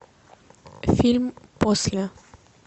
фильм после